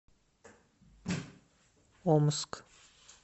омск